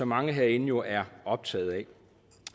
mange herinde jo er optaget af